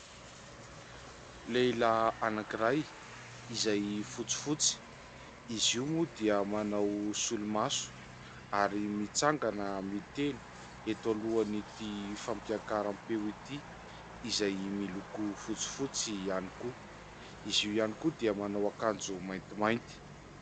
Lehilahy anankiray izay fotsifotsy, izy io moa dia manao solomaso ary mitsangana miteny eto alohan'ity fampiakaram-peo ity izay miloko fotsifotsy ihany koa, izy io ihany koa dia manao akanjo maintimainty.